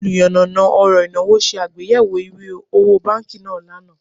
Oluyanana oro inawo se agbeyewo iwe owo banki naa lana